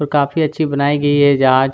जो काफी अच्छी बनाई गयी है जहाज--